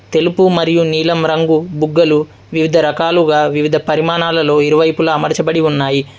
తెలుపు మరియు నీలం రంగు బుగ్గలు వివిధ రకాలుగా వివిధ పరిమాణాలలో ఇరువైపులా అమర్చబడి ఉన్నాయి.